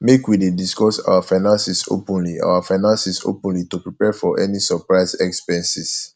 make we dey discuss our finances openly our finances openly to prepare for any surprise expenses